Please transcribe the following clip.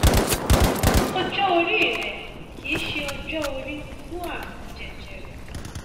ọjọ orí rẹ kìí ṣe ọjọ orí fún ààrùn jẹjẹrẹ